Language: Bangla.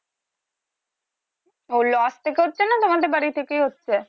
ওগুলো আস্তে করছে না তোমাদের বাড়ি থেকেই হচ্ছে